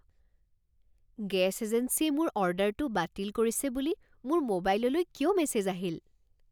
Gas এজেন্সীয়ে মোৰ অৰ্ডাৰটো বাতিল কৰিছে বুলি মোৰ মোবাইললৈ কিয় মেছেজ আহিল?